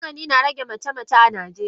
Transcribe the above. Magani na rage mace mace a najeriya.